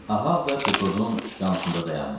Ahab da Pekodun şkansında dayanmışdı.